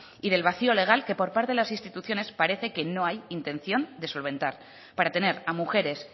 y del vacío legal que por parte de las instituciones parece que no hay intención de solventar para tener a mujeres